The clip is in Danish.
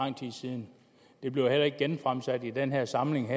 det bliver heller ikke genfremsat i den her samling